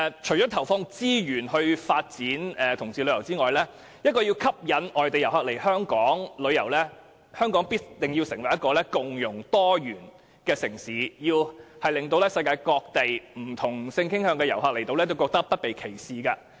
除了投放資源發展同志旅遊業外，要吸引外地旅客來港，香港必須成為共融多元的城市，令世界各地不同性傾向的旅客來港後，不會感到被歧視。